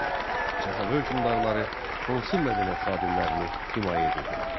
Səfəvi hökmdarları hansı mədəniyyət xadimlərini himayə edirdilər?